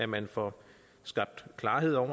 man får skabt klarhed over